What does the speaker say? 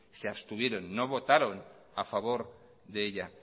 se abstuvieron no votaron a favor de ella